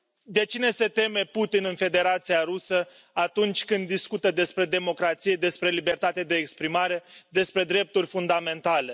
De cine se teme Putin în Federația Rusă atunci când discută despre democrație, despre libertatea de exprimare, despre drepturi fundamentale?